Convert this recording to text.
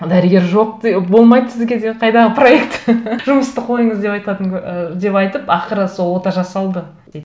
дәрігер жоқ болмайды сізге деп қайдағы проект жұмысты қойыңыз деп айтатын ы деп айтып ақыры сол ота жасалды дейді